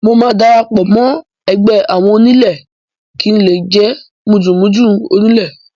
Mo máa darapọ̀ mọ́ ẹgbẹ́ àwọn onílé kí ń lè jé mùdùnmúdùn oníle.